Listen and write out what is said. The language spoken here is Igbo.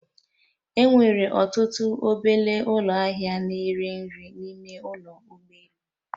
E nwere ọtụtụ obele ụlọ ahịa na ere nri n'ime ụlọ ụgbọ elu